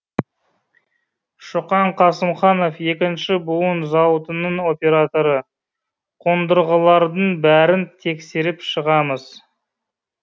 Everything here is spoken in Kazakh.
шоқан қасымханов екінші буын зауытының операторы қондырғылардың бәрін тексеріп шығамыз